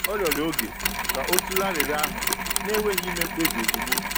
Ọ rịọrọ oge ka o tụlee arịrịọ ahụ, na-enweghị ime mkpebi ozugbo.